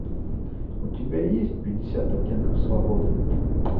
у тебя есть пятьдесят оттенков свободы